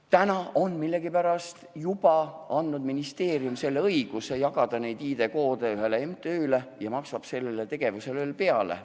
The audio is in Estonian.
Täna on ministeerium millegipärast juba andnud õiguse jagada neid ID-koode ühele MTÜ-le ja maksab sellele tegevusele veel peale.